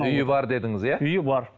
үйі бар дедіңіз иә үйі бар